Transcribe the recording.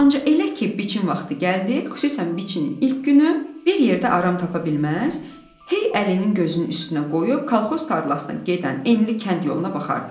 Ancaq elə ki, biçin vaxtı gəldi, xüsusən biçinin ilk günü, bir yerdə aram tapa bilməz, hey əlinin gözünün üstünə qoyub kolxoz tarlasına gedən enli kənd yoluna baxardı.